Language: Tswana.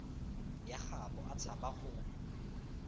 ya gaabo a tshaba go